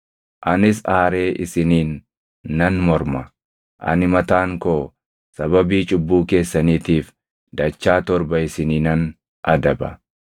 anis aaree isiniin nan morma; ani mataan koo sababii cubbuu keessaniitiif dachaa torba isiniinan adaba.